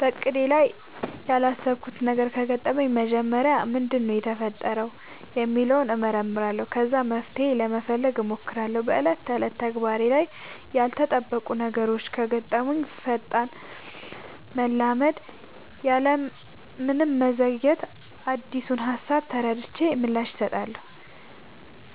በእቅዴ ላይ ያላሰብኩት ነገር ከገጠመኝ መጀመሪያ ምንድነው የተፈጠረው ሚለውን እመረምራለሁ ከዛ መፍትሄ ለመፈለግ ሞክራለው በ ዕለት ተዕለት ተግባሬ ላይ ያልተጠበቁ ነገሮች ከገጠሙኝ ፈጣን መላመድ ያለምንም መዘግየት አዲሱን ሃሳብ ተረድቼ ምላሽ እሰጣለሁ።